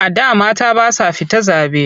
A da mata ba sa fita zaɓe.